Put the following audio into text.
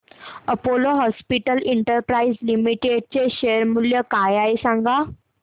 Apollo Hospitals Enterprise Limited चे share मूल्य काय आहे सांगा